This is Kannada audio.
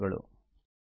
ಧನ್ಯವಾದಗಳು